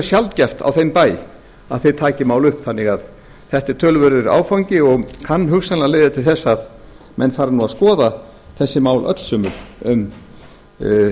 sjaldgæft á þeim bæ að þeir taki mál upp þannig að þetta er töluverður áfangi og kann hugsanlega að leiða til þess að menn fari nú að skoða þessi mál öll sömul um